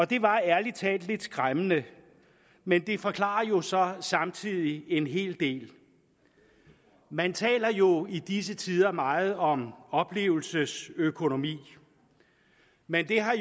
det var ærlig talt lidt skræmmende men det forklarer jo så samtidig en hel del man taler jo i disse tider meget om oplevelsesøkonomi men det har